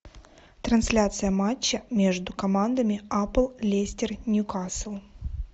трансляция матча между командами апл лестер ньюкасл